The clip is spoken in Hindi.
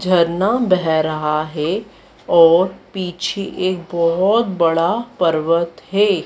झरना बह रहा है और पीछे एक बहोत बड़ा पर्वत है।